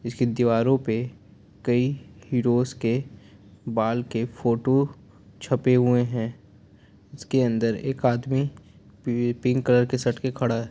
इसकी दीवारों पे कइ हीरोज के बाल की फोटो छपे हुए है उसके अंदर एक आदमी पिंक कलर की शर्ट मे खड़ा है।